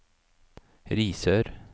Risør